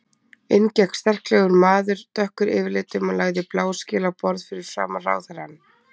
Inn gekk sterklegur maður, dökkur yfirlitum og lagði bláskel á borð fyrir framan ráðherrann.